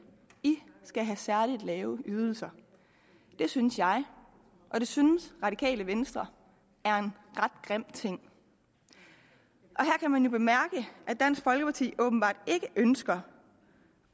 i skal have særligt lave ydelser det synes jeg og det synes radikale venstre er en ret grim ting her kan man jo bemærke at dansk folkeparti åbenbart ikke ønsker